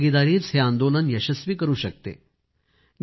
जनभागीदारीच हे आंदोलन यशस्वी करू शकते